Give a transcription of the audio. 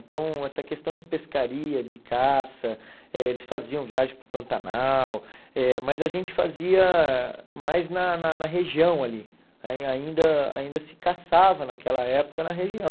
Então, essa questão de pescaria, de caça, eh eles faziam viagem para o Pantanal, eh mas a gente fazia mais na na na região ali, aí ainda ainda se caçava naquela época na região.